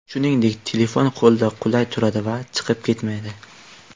Shuningdek, telefon qo‘lda qulay turadi va chiqib ketmaydi.